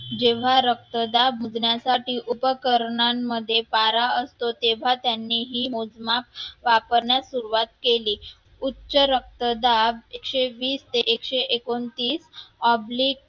जेव्हा रक्तदाब मोजण्यासाठी उपकरणांमध्ये पारा असतो तेव्हा त्यांनीही मोजमाप वापरण्यास सुरुवात केली उच्च रक्तदाब एकशे वीस ते एकशे एकोणतीस oblique